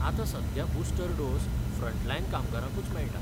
आतां सद्याक booster dose frontline कामगारांकूच मेळटा.